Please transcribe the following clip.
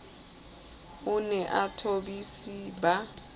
a ne a thobise ba